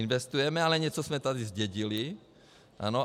Investujeme, ale něco jsme tady zdědili, ano.